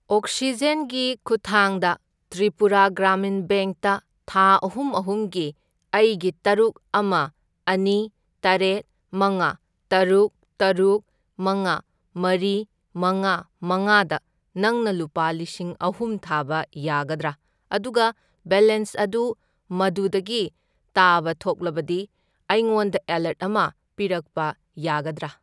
Oxygen ꯒꯤ ꯈꯨꯠꯊꯥꯡꯗ ꯇ꯭ꯔꯤꯄꯨꯔꯥ ꯒ꯭ꯔꯥꯃꯤꯟ ꯕꯦꯡꯛꯇ ꯊꯥ ꯑꯍꯨꯝ ꯑꯍꯨꯝꯒꯤ ꯑꯩꯒꯤ ꯇꯔꯨꯛ, ꯑꯃ, ꯑꯅꯤ, ꯇꯔꯦꯠ, ꯃꯉꯥ, ꯇꯔꯨꯛ, ꯇꯔꯨꯛ, ꯃꯉꯥ, ꯃꯔꯤ, ꯃꯉꯥ, ꯃꯉꯥꯗ ꯅꯪꯅ ꯂꯨꯄꯥ ꯂꯤꯁꯤꯡ ꯑꯍꯨꯝ ꯊꯥꯕ ꯌꯥꯒꯗ꯭ꯔꯥ? ꯑꯗꯨꯒ ꯕꯦꯂꯦꯟꯁ ꯑꯗꯨ ꯃꯗꯨꯗꯒꯤ ꯇꯥꯕ ꯊꯣꯛꯂꯕꯗꯤ ꯑꯩꯉꯣꯟꯗ ꯑꯦꯂꯔꯠ ꯑꯃ ꯄꯤꯔꯛꯄ ꯌꯥꯒꯗ꯭ꯔꯥ?